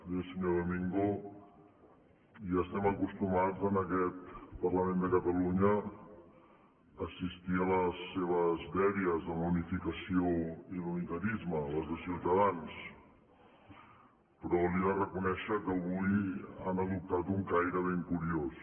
bé senyor domingo ja estem acostumat en aquest parlament de catalunya a assistir a les seves dèries de la unificació i l’unitarisme les de ciutadans però li he de reconèixer que avui han adoptat un caire ben curiós